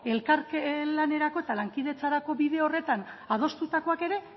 elkar lanerako eta lankidetzarako bide horretan adostutakoak ere